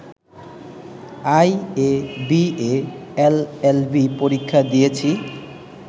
IA, BA, LLB পরীক্ষা দিয়েছি